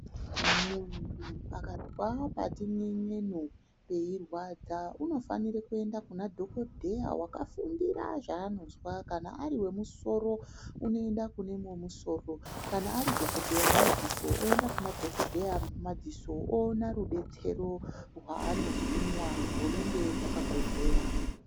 Muntu akazwe patin'en'enu peirwadza unofanira kuenda kuna dhokodheya wakafundira zvaanozwa. Kana ari wemusoro unoenda kune wemusoro. Kana ari dhokodheya wemadziso oyenda kunema dhokodheya emadziso, owona rubetsero rwaano hinwa hunenge hwakakodzera.